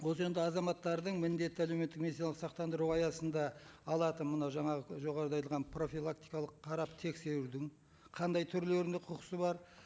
осы енді азаматтардың міндетті әлеуметтік медициналық сақтандыру аясында алатын мына жаңағы жоғарыда айтылған профилактикалық қарап тексерудің қандай түрлеріне құқысы бар